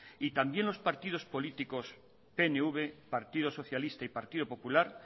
y también los partidos políticos pnv partido socialista y partido popular